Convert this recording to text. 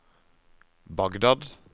Bagdad